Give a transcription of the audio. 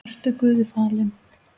Vertu Guði falin.